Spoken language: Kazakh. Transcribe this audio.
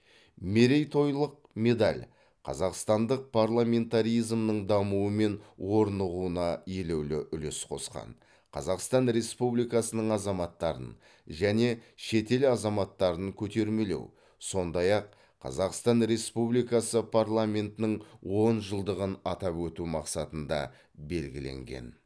мерейтойлық медаль қазақстандық парламентаризмнің дамуы мен орнығуына елеулі үлес қосқан қазақстан республикасының азаматтарын және шетел азаматтарын көтермелеу сондай ақ қазақстан республикасы парламентінің он жылдығын атап өту мақсатында белгіленген